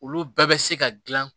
Olu bɛɛ bɛ se ka dilan